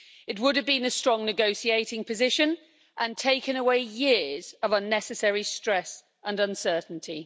It would have been a strong negotiating position and taken away years of unnecessary stress and uncertainty.